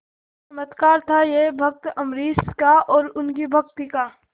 चमत्कार था यह भक्त अम्बरीश का और उनकी भक्ति का